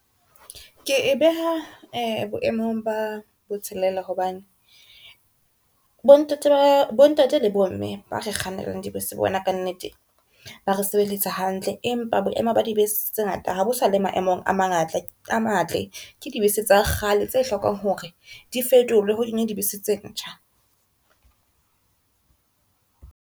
Ke e beha boemong ba bo tshelela hobane bo ntate le bomme ba re kgannelang dibese bona ka nnete ba re sebeletsa hantle, empa boemo ba dibese tse ngata ha bo sale maemong a matle ke dibese tsa kgale tse hlokang hore di fetolwe ho kenywe dibese tse ntjha.